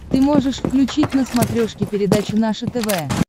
ты можешь включить на смотрешке передачу наше тв